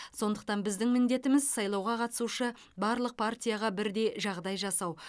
сондықтан біздің міндетіміз сайлауға қатысушы барлық партияға бірдей жағдай жасау